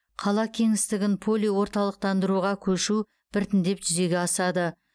қала кеңістігін полиорталықтандыруға көшіру біртіндеп жүзеге асады